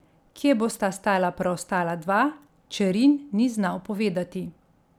Kje bosta stala preostala dva, Čerin ni znal povedati.